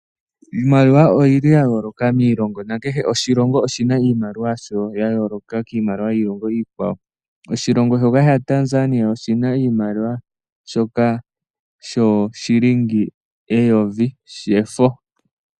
Iimaliwa oyili ya yooloka miilongo, na kehe oshilongo oshina iimaliwa yasho ya yooloka kiimaliwa yiilongo iikwawo. Oshilongo shoka sha Tanzania oshina iimaliwa shoka shooshilingi eyovi shefo.